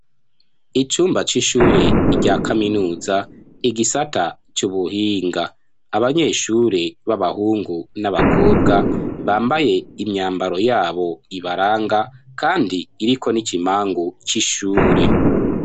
Icumba c'ishure rya kaminuza igisata c'ubuhinga abanyeshure b'abahungu n'abakobwa bambaye imyambaro yabo ibaranga kandi iriko n'ikimpangu c'ishure.